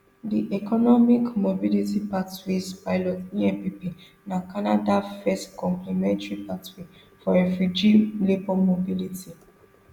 di economic mobility pathways pilot empp na canada first complementary pathway for refugee labour mobility